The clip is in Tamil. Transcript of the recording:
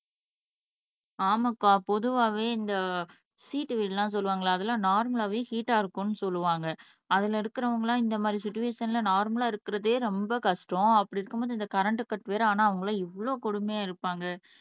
ஆமாக்க பொதுவாவே இந்த சீட்டு வீடெல்லாம் சொல்லுவாங்களே அதெல்லாம் நார்மலாவே ஹீட்டா இருக்கும்னு சொல்லுவாங்க அதுல இருக்குறவங்கல்லாம் இந்த மாதிரி சுச்வேஷன்ல நார்மலா இருக்கிறதே ரொம்ப கஷ்டம் அப்படி இருக்கும்போது இந்த கரண்ட்டு கட் வேற ஆனா அவங்க எல்லாம் எவ்வளவு கொடுமையா இருப்பாங்க